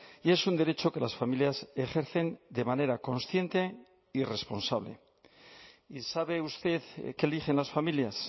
y es un derecho que las familias ejercen de manera consciente y responsable y sabe usted qué eligen las familias